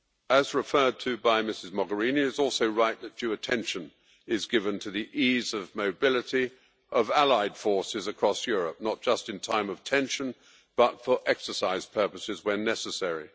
As referred to by Ms Mogherini, it is also right that due attention be given to the ease of mobility of allied forces across Europe, not just in times of tension but also for exercise purposes when necessary.